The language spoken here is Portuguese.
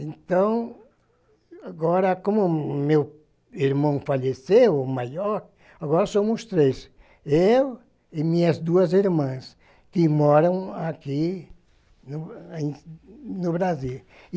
Então, agora, como meu irmão faleceu, o maior, agora somos três, eu e minhas duas irmãs, que moram aqui no no Brasil.